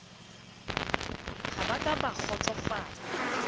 ha ba ka ba kgotsofala